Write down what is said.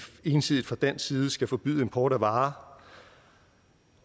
ensidigt fra dansk side skal forbyde import af varer